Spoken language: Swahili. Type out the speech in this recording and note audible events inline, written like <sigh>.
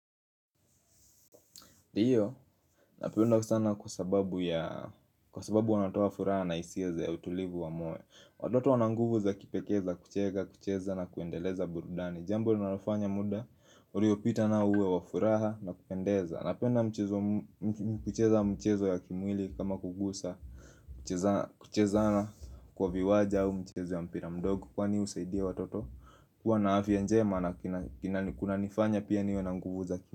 Ndio, <inaudible> sana kwa sababu ya, kwa sababu wanatoa furaha na hisiya ya utulivu wa moyo watoto wana nguvu za kipekee, kuchega, kucheza na kuendeleza burudani Jambo linalo nafanya muda, uriopita na uwe wafuraha na kupendeza Napenda mchezo, m kucheza mchezo ya kimwili kama kugusa, kucheza kucheza na kwa viwaja au mchezo ya mpira mdogo kwani husaidia watoto kuwa na afya njema na kina kina kuna nifanya pia niwe na nguvu za ki.